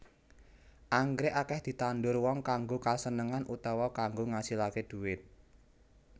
Anggrèk akèh ditandur wong kanggo kasenengan utawa kanggo ngasilaké dhuwit